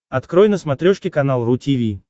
открой на смотрешке канал ру ти ви